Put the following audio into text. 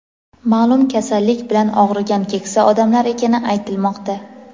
ma’lum kasallik bilan og‘rigan keksa odamlar ekani aytilmoqda.